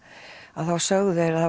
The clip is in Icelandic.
að þá sögðu þeir að